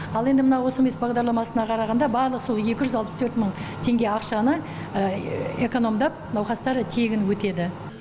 ал енді мына осмс бағдарламасына қарағанда барлық сол екі жүз алпыс төрт мың теңге ақшаны экономдап науқастар тегін өтеді